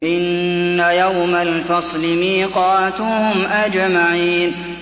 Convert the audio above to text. إِنَّ يَوْمَ الْفَصْلِ مِيقَاتُهُمْ أَجْمَعِينَ